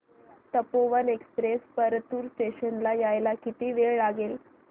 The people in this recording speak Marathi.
तपोवन एक्सप्रेस परतूर स्टेशन ला यायला किती वेळ लागेल